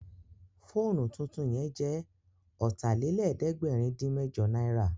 Fóònù tuntun yẹn jẹ́ Ọ̀tàlélẹ̀ẹ́dẹ́gbẹ̀rin-dín-mẹ́jọ náírà